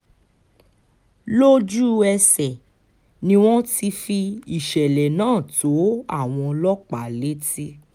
lójú-ẹsẹ̀ ni wọ́n ti fi ìṣẹ̀lẹ̀ náà tó àwọn ọlọ́pàá létí